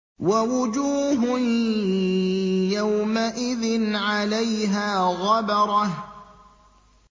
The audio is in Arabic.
وَوُجُوهٌ يَوْمَئِذٍ عَلَيْهَا غَبَرَةٌ